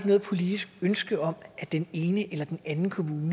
noget politisk ønske om at den ene eller den anden kommune